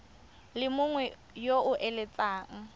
le mongwe yo o eletsang